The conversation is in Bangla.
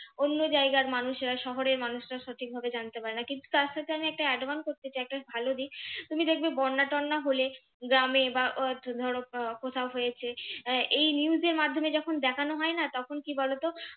অন্য জায়গার মানুষেরা শহরের মানুষরা সঠিকভাবে জানতে পারে না কিন্তু তার সাথে আমি একটা advance করতে চাই একটা ভালো দিক, তুমি দেখবে বন্যা-টরনা হলে গ্রামে বা আহ ধরো আহ কোথাও হয়েছে আহ এই news এর মাধ্যমে যখন দেখানো হয় না তখন কি বলতো?